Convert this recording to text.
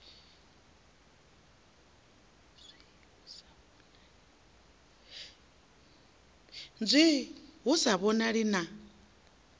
nzwii hu sa vhonali na